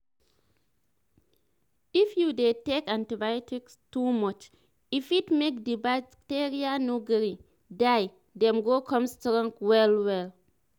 if you dey take antibiotics to much e fit make the bacteria no gree die them go come strong well well